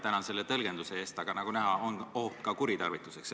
Tänan selle tõlgenduse eest, aga nagu näha, on oht seda kuritarvitada.